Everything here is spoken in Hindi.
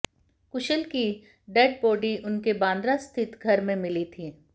कुशल की डेड बॉडी उनके बांद्रा स्थित घर में मिली थी